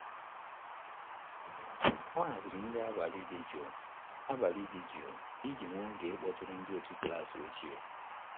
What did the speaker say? O haziri nri abalị dị jụụ abalị dị jụụ iji nwee oge ịkpọtụrụ ndị otu klas ochie.